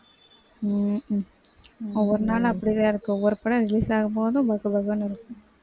உம் உம் ஒரு நாள் அப்படிதான் இருக்கு ஒரு படம் release ஆகும்போது பக்கு பக்குனு இருக்கும்